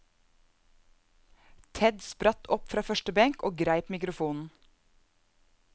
Ted spratt opp fra første benk og greip mikrofonen.